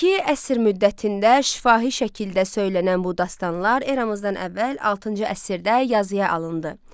İki əsr müddətində şifahi şəkildə söylənən bu dastanlar eramızdan əvvəl 6-cı əsrdə yazıya alındı.